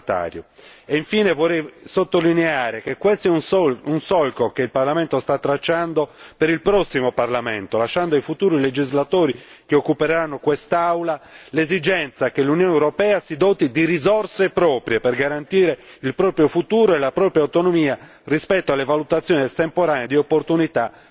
Vorrei infine sottolineare che questo è un solco che il Parlamento sta tracciando per il prossimo Parlamento, lasciando ai futuri legislatori che occuperanno quest'Aula l'esigenza che l'Unione europea si doti di risorse proprie per garantire il proprio futuro e la propria autonomia rispetto alle valutazioni estemporanee di opportunità degli Stati membri.